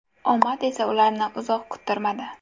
Omad esa ularni uzoq kuttirmadi.